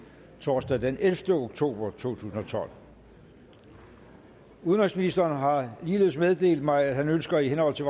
torsdag den ellevte oktober to tusind og tolv udenrigsministeren har ligeledes meddelt mig at han ønsker i henhold til